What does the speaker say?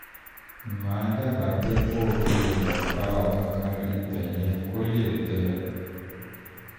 màá dábàá pé kó o fi oògùn pa ọ̀gángán ibẹ̀ yẹn kó lè gbẹ